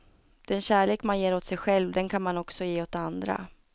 Den kärlek man ger åt sig själv, den kan man också ge åt andra.